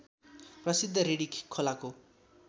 प्रसिद्ध रिडी खोलाको